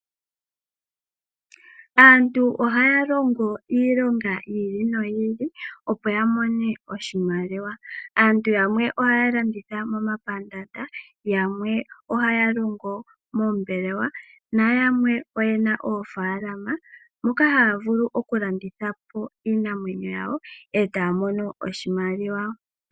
Aantu ohaya iilonga yili noyi ili opo ya mone oshimaliwa. Aantu yamwe ohaya landitha momapandaanda yamwe, ohaya longo moombelewa nayamwe oyena oofaalama, moka haya vulu okulanditha po iinamwenyo yawo etaya mono oshimaliwa.